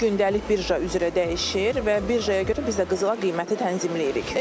Bu gündəlik birja üzrə dəyişir və birjaya görə biz də qızıla qiyməti tənzimləyirik.